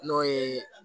N'o ye